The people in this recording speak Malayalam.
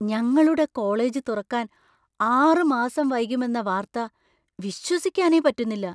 ഞങ്ങളുടെ കോളേജ് തുറക്കാൻ ആറ് മാസം വൈകുമെന്ന വാർത്ത വിശ്വസിക്കാനേ പറ്റുന്നില്ല.